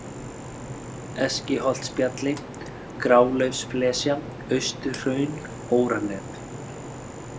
Eskiholtsbjalli, Grálaufsflesja, Austurhraun, Óranef